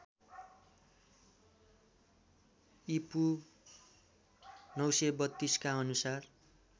ईपू ९३२ का अनुसार